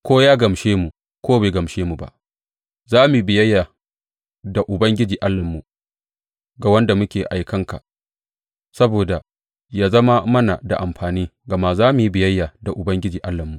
Ko ya gamshe mu ko bai gamshe mu ba, za mu yi biyayya da Ubangiji Allahnmu, ga wanda muke aikan ka, saboda ya zama mana da amfani, gama za mu yi biyayya da Ubangiji Allahnmu.